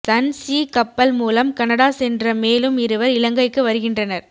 Sun Sea கப்பல் மூலம் Canada சென்ற மேலும் இருவர் இலங்கைக்கு வருகின்றனர்